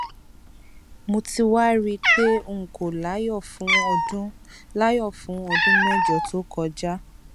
mo ti wá rí i pé n kò láyọ fún ọdún láyọ fún ọdún mẹjọ tó kọjá